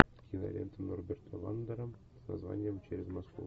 кинолента норберта вандера с названием через москву